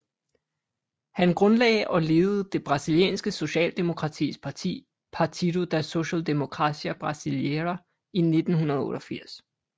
Han grundlage og ledede det brasilianske socialdemokratiske parti Partido da Social Democracia Brasileira i 1988